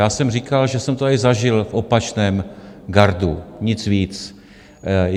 Já jsem říkal, že jsem to tady zažil v opačném gardu, nic víc.